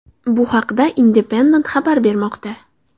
Bu haqda Independent xabar bermoqda .